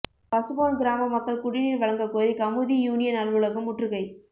பசும்பொன் கிராம மக்கள் குடிநீர் வழங்கக்கோரி கமுதி யூனியன் அலுவலகம் முற்றுகை